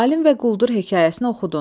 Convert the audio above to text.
Alim və quldur hekayəsini oxudun.